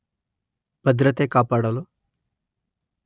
ಭದ್ರತೆ ಕಾಪಾಡಲು